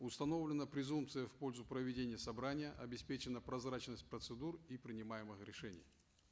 установлена презумпция в пользу проведения собрания обеспечена прозрачность процедур и принимаемых решений